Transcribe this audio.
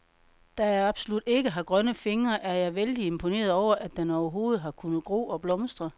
Da jeg absolut ikke har grønne fingre, er jeg vældig imponeret over, at den overhovedet har kunnet gro og blomstre.